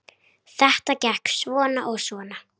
Helst meira en nóg.